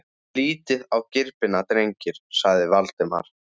Lítið á gripina, drengir! sagði Valdimar.